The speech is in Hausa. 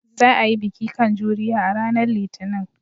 Za a yi darasi kan juriya a ranar Litinin.